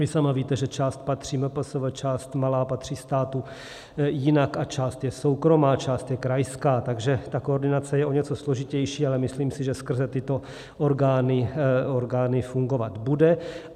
Vy sama víte, že část patří MPSV, část malá patří státu, jinak a část je soukromá, část je krajská, takže ta koordinace je o něco složitější, ale myslím si, že skrze tyto orgány fungovat bude.